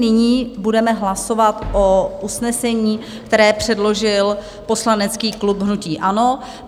Nyní budeme hlasovat o usnesení, které předložil poslanecký klub hnutí ANO.